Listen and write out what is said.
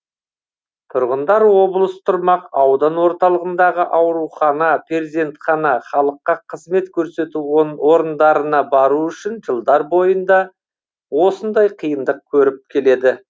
тұрғындар облыс тұрмақ аудан орталығындағы аурухана перзентхана халыққа қызмет көрсету орындарына бару үшін жылдар бойына осындай қиындық көріп келеді